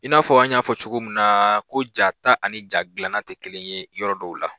I n'a fɔ an y'a fɔ cogo mun na ko ja ta ani gilanna tɛ kelen ye yɔrɔ dɔw la.